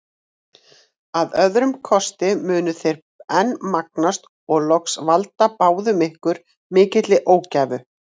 Að öðrum kosti munu þeir enn magnast og loks valda báðum ykkur mikilli ógæfu.